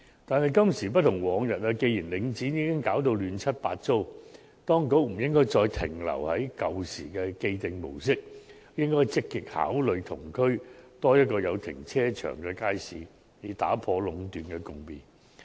但是，今時不同往日，既然領展已搞到亂七八糟，當局不應再停留於舊時的既定模式，而應積極考慮在同區興建多一個有停車場的街市，以打破壟斷的局面。